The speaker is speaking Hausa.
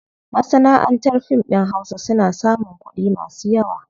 Masanaʼantar fim ɗin hausa suna samun kuɗi masu yawa.